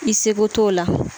I seko t'o la